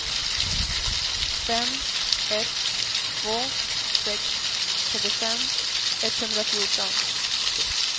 fem ett två sex trettiofem etthundrafjorton